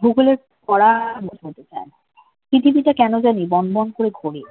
ভূগোলের পড়া মুখস্ত হতে চায় না পৃথিবীটা কেন জানি বনবন করে ঘোরে